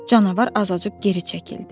Canavar azacıq geri çəkildi.